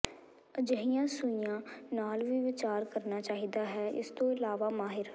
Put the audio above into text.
ਅਜਿਹੀਆਂ ਸੂਈਆਂ ਨਾਲ ਵੀ ਵਿਚਾਰ ਕਰਨਾ ਚਾਹੀਦਾ ਹੈ ਇਸ ਤੋਂ ਇਲਾਵਾ ਮਾਹਿਰ